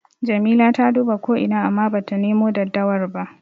Jamila ta duba ko ina amma bata nemo daddawar ba.